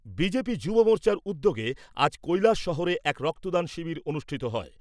BJP যুব মোর্চার উদ্যোগে আজ কৈলাসহরে এক রক্তদান শিবির অনুষ্ঠিত হয়।